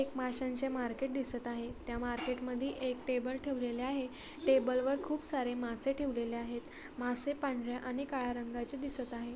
एक माश्यांचे मार्केट दिसतं आहे त्या मार्केट मधी एक टेबल ठेवलेली आहे. टेबल वर खूपसारे मासे ठेवलेले आहेत. मासे पांढर्‍या आणि काळ्या रंगाचे दिसत आहे.